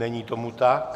Není tomu tak.